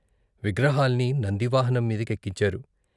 విగ్రహాల్ని నంది వాహనం మీది కెక్కించారు.